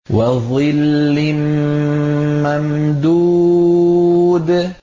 وَظِلٍّ مَّمْدُودٍ